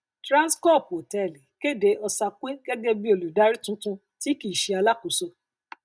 trannscorp hòtẹẹlì kéde osakwe gẹgẹ bí olùdárí tuntun tí kìí ṣe alákóso